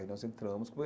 Aí nós entramos.